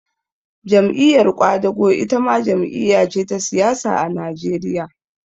Jam'iyar ƙwadago itama jam'iya ce ta siyasa a Najeriya